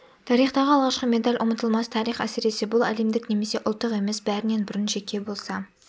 тарихтағы алғашқы медаль ұмытылмас тарих әсіресе бұл әлемдік немесе ұлттық емес бәрінен бұрын жеке болса